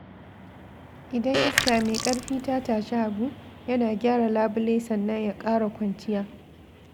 Idan iska mai ƙarfi ta tashi Habu, yana gyara labule sannan ya ƙara kwanciya.